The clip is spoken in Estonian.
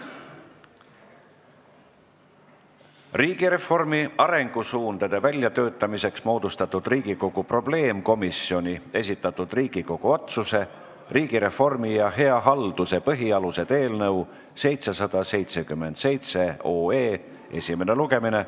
Riigireformi arengusuundade väljatöötamiseks moodustatud Riigikogu probleemkomisjoni esitatud Riigikogu otsuse "Riigireformi ja hea halduse põhialused" eelnõu 777 esimene lugemine.